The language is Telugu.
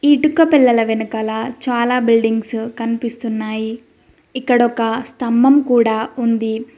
ఈ ఇటుక పిల్లల వెనకాల చాలా బిల్డింగ్స్ కనిపిస్తున్నాయి ఇక్కడ ఒక స్తంభం కూడా ఉంది.